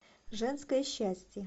женское счастье